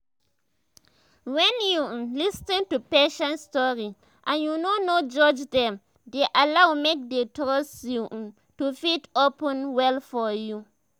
wen you um lis ten to patients story and you no no judge them dey allow make dey trust you um to fit open up well for you